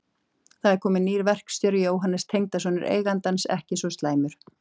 Það er kominn nýr verkstjóri, Jóhannes, tengdasonur eigandans, ekki svo slæmur.